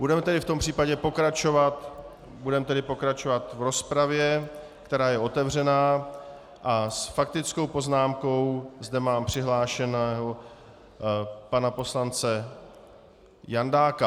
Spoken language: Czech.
Budeme tedy v tom případě pokračovat v rozpravě, která je otevřená, a s faktickou poznámkou zde mám přihlášeného pana poslance Jandáka.